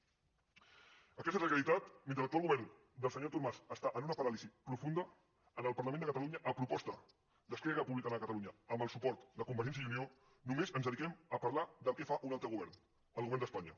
aquesta és la realitat mentre l’actual govern del senyor artur mas està en una paràlisi profunda en el parlament de catalunya a proposta d’esquerra republicana de catalunya amb el suport de convergència i unió només ens dediquem a parlar del que fa un altre govern el govern d’espanya